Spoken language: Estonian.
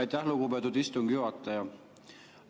Aitäh, lugupeetud istungi juhataja!